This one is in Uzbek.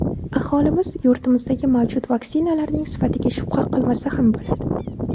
Aholimiz yurtimizdagi mavjud vaksinalarning sifatiga shubha qilmasa ham bo‘ladi.